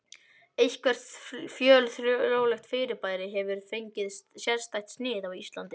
Eitthvert fjölþjóðlegt fyrirbæri hefur fengið sérstætt snið á Íslandi.